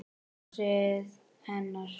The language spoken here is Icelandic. Brosið hennar.